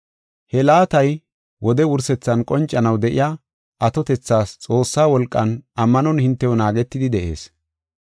He laatay wode wursethan qoncanaw de7iya atotethas Xoossaa wolqan ammanon hintew naagetidi de7ees.